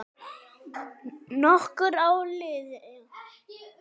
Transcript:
Nokkur ár liðu.